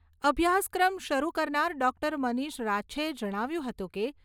અભ્યાસક્રમ શરૂ કરનાર ડૉક્ટર મનીષ રાચ્છેએ જણાવ્યું હતું કે